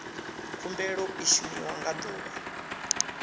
khumbelo i shumiwa nga ḓuvha